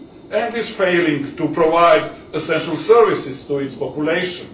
and is failing to provide essential services to its population.